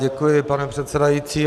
Děkuji, pane předsedající.